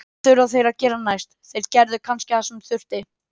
Hvað þurfa þeir að gera næst: Þeir gerðu kannski það sem þurfti.